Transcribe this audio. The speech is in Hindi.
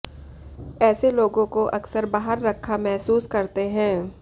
ऐसे लोगों को अक्सर बाहर रखा महसूस करते हैं